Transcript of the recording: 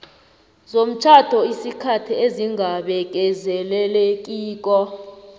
zomtjhado isikhathi esingabekezelelekiko